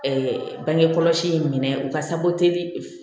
bangekɔlɔsi in minɛ u ka sako teliye